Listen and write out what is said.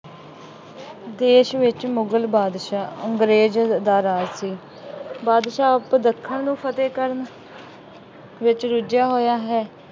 ਦੇਸ਼ ਵਿੱਚ ਮੁਗਲ ਬਾਦਸ਼ਾਹ ਅੰਗਰੇਜ਼ ਦਾ ਰਾਜ ਸੀ। ਬਾਦਸ਼ਾਹ ਉੱਧਰ ਦੱਖਣ ਨੂੰ ਫਤਹਿ ਕਰਨ ਵਿੱਚ ਰੁੱਝਿਆ ਹੋਇਆਂ ਹੈ।